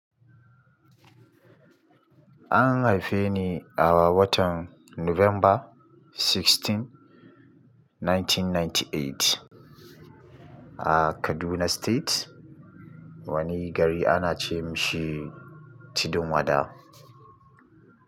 An haife ni a watan November 16, 1998, a Kaduna State, wani gari ana ce mashi tudun wada.